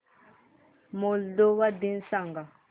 Moldova दिन सांगा